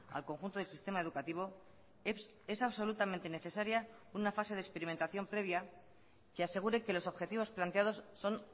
al conjunto del sistema educativo es absolutamente necesaria una fase de experimentación previa que asegure que los objetivos planteados son